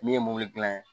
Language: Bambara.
Min ye mobili dilan